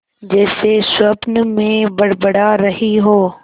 जैसे स्वप्न में बड़बड़ा रही हो